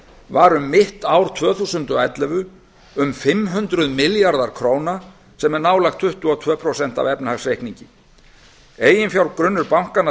var um mitt ár tvö þúsund og ellefu um fimm hundruð milljarðar króna sem er nálægt tuttugu og tvö prósent af efnahagsreikningi eiginfjárgrunnur bankanna